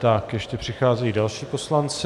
Tak ještě přicházejí další poslanci.